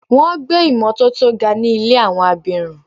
Wọ́n gbé ìmotótó ga ní ilé àwọn abirùn.